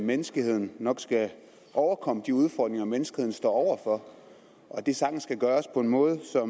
at menneskeheden nok skal overkomme de udfordringer menneskeheden står over for og at det sagtens kan gøres på en måde så